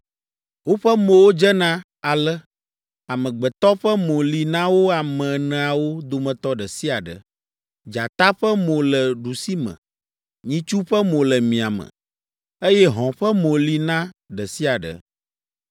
Woƒe mowo dzena ale: amegbetɔ ƒe mo li na wo ame eneawo dometɔ ɖe sia ɖe; dzata ƒe mo le ɖusime, nyitsu ƒe mo le miame, eye hɔ̃ ƒe mo li na ɖe sia ɖe.